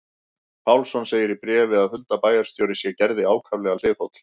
Pálsson segir í bréfi að Hulda bæjarstjóri sé Gerði ákaflega hliðholl.